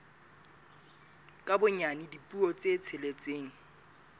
ka bonyane dipuo tse tsheletseng